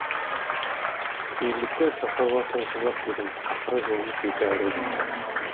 елдікті сақтауға тырысып ақ едім ақыры жолымыз екі айырылды ма